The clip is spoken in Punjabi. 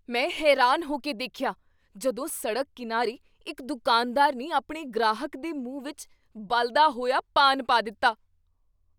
ਮੈਂ ਹੈਰਾਨ ਹੋ ਕੇ ਦੇਖਿਆ ਜਦੋਂ ਸੜਕ ਕੀਨਾਰੇ ਇੱਕ ਦੁਕਾਨਦਾਰ ਨੇ ਆਪਣੇ ਗ੍ਰਾਹਕ ਦੇ ਮੂੰਹ ਵਿੱਚ ਬਲਦਾ ਹੋਈਆ ਪਾਨ ਪਾ ਦਿੱਤਾ।